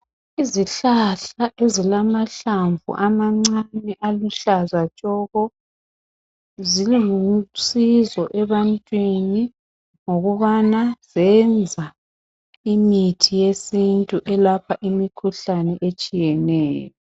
Izihlahla ezilamahlamvu amancane aluhlaza tshoko zilusizo ebantwini ngokubana zenza imithi yesintu elapha imikhuhlane etshiyeneyo .